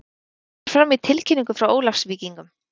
Þetta kemur fram í tilkynningu frá Ólafsvíkingum.